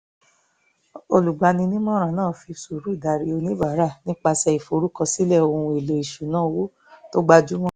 olùgbani-nímọ̀ràn náà fi sùúrù darí oníbàárà nípasẹ̀ ìforúkọsílẹ̀ ohun èlò ìṣúnná owó tó gbajúmọ̀